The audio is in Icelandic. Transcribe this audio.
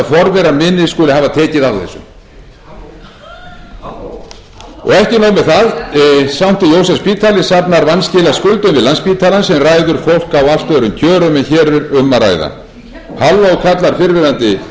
forverar mínir skuli hafa tekið á þessu og ekki nóg með það sankti jósefsspítali safnar vanskilaskuldum við landspítalann sem ræður fólk á allt öðrum kjörum en hér er um að ræða halló kallar fyrrverandi hæstvirtum